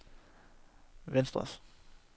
venstres